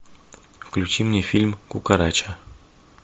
включи мне фильм кукарача